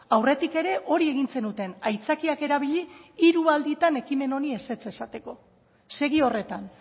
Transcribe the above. aurretik ere hori egin zenuten aitzakiak erabili hiru alditan ekimen honi ezetz esateko segi horretan